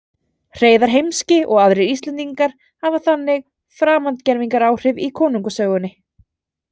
Hreiðar heimski og aðrir Íslendingar hafa þannig framandgervingaráhrif í konungasögunni.